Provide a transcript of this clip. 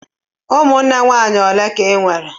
Ụmụnne nwaanyị ole ka ị nwere?